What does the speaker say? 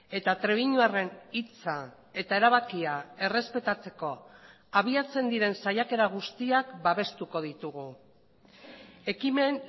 eta trebiñuarren hitza eta erabakia errespetatzeko abiatzen diren saiakera guztiak babestuko ditugu ekimen